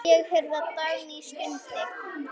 Ég heyrði að Dagný stundi.